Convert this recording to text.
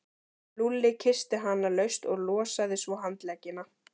Lúlli kyssti hana laust og losaði svo handleggina.